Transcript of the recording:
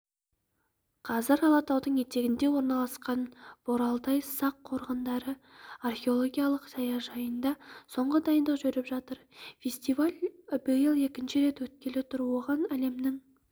қазір алатаудың етегінде орналасқан боралдай сақ қорғандары археологиялық саяжайында соңғы дайындық жүріп жатыр фестиваль биыл екінші рет өткелі тұр оған әлемнің